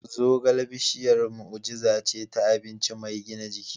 Zogale bishiyar mu'ujiza ce ta abinci mai gina jiki.